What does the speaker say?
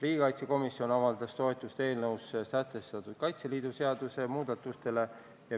Riigikaitsekomisjon avaldas toetust eelnõus ette pandud Kaitseliidu seaduse muudatustele.